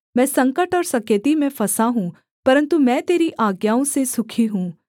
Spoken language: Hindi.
मैं संकट और सकेती में फँसा हूँ परन्तु मैं तेरी आज्ञाओं से सुखी हूँ